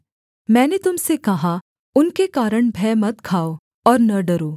मैंने तुम से कहा उनके कारण भय मत खाओ और न डरो